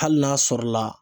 Hali n'a sɔrɔ la